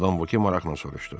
Madam Voke maraqla soruşdu.